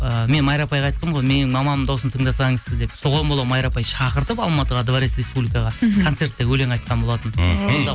ыыы мен майра апайға айтқанмын ғой менің мамамның дауысын тыңдасаңыз сіз деп соған бола майра апай шақыртып алматыға дворец республикаға мхм концертте өлең айтқан болатын мхм